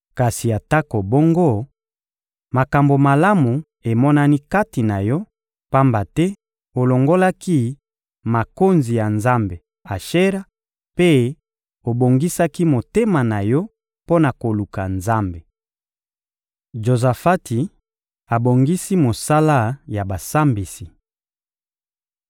Kasi atako bongo, makambo malamu emonani kati na yo, pamba te olongolaki makonzi ya nzambe Ashera mpe obongisaki motema na yo mpo na koluka Nzambe.» Jozafati abongisi mosala ya basambisi